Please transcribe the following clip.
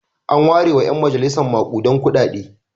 An warewa ƴan majalisa maƙudan kuɗaɗe.